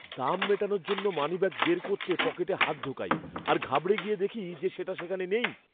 দাম মেটানোর জন্য মানিব্যাগ বের করতে পকেটে হাত ঢোকাই। আর ঘাবড়ে গিয়ে দেখি যে সেটা সেখানে নেই!